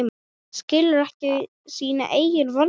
Skilur ekki sína eigin vonsku.